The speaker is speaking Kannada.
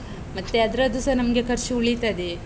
ಮತ್ತೆ ಅದ್ರದ್ದುಸ ನಮ್ಗೆ ಖರ್ಚು ಉಳೀತದೆ.